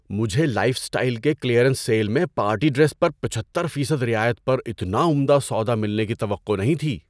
مجھے lifestyle کے clearance sale میں پارٹی ڈریس پر پچہتر فیصد رعایت پر اتنا عمدہ سودا ملنے کی توقع نہیں تھی۔